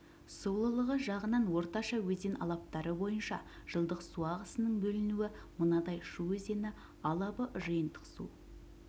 сулылығы жағынан орташа өзен алабтары бойынша жылдық су ағысының бөлінуі мынадай шу өзені алабы жиынтық су